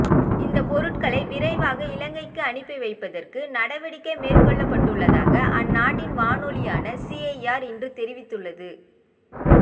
இந்த பொருட்களை விரைவாக இலங்கைக்கு அனுப்பிவைப்பதற்கு நடவடிக்கை மேற்கொள்ளப்பட்டுள்ளதாக அந்நாட்டின் வானொலியான சீஐஆர் இன்று தெரிவித்துள்ளது